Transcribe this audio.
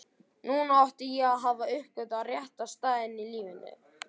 Núna átti ég að hafa uppgötvað rétta staðinn í lífinu.